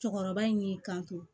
Cɔkɔrɔba in de kan